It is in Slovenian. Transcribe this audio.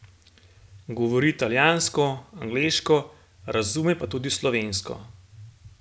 Govori italijansko, angleško, razume pa tudi slovensko.